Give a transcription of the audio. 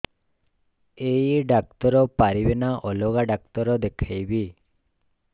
ଏଇ ଡ଼ାକ୍ତର ପାରିବେ ନା ଅଲଗା ଡ଼ାକ୍ତର ଦେଖେଇବି